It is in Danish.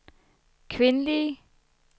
kvindelige